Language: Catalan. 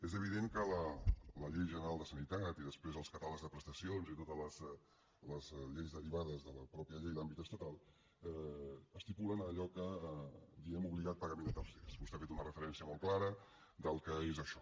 és evident que la llei general de sanitat i després els catàlegs de prestacions i totes les lleis derivades de la mateixa llei d’àmbit estatal estipulen allò que diem obligat pagament a tercers vostè ha fet una referència molt clara del que és això